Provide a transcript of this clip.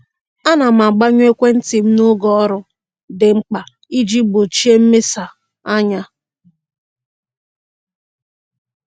A na m agbanyụ ekwentị m n'oge ọrụ dị mkpa iji gbochie mmesa anya.